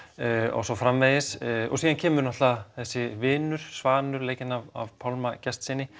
og svo framvegis síðan kemur náttúrulega þessi vinur Svanur leikinn af Pálma Gestssyni